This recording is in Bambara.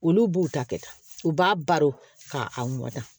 Olu b'u ta kɛ ta u b'a baro k'a mɔtɛ